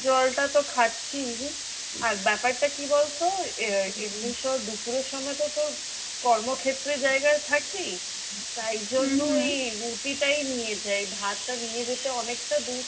জলটা তো খাচ্ছিই। আর ব্যাপারটা কি বলতো দুপুরের সময় তো তোর কর্মক্ষেত্রের জায়গায় থাকি তাই রুটিটাই নিয়ে যাই। ভাতটা নিয়ে যেতে অনেকটা দূর,